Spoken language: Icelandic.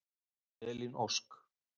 Elín Ósk.